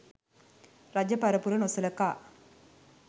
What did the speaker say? රජ පරපුර නොසලකා